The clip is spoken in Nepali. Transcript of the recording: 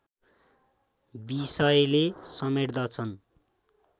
विषयले समेट्दछन्